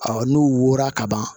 n'u wo wora kaban